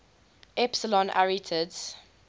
epsilon arietids